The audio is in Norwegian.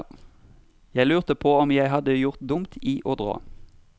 Jeg lurte på om jeg hadde gjort dumt i å dra.